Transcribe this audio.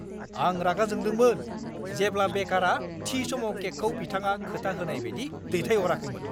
आं रागा जोंदोंमोन जेब्ला बेकारा थि समाव केकखौ बिथाङा खोथा होनाय बायदि दैथाइहराखैमोन।